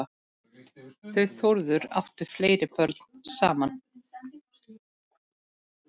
Þau Þórður áttu fleiri börn saman.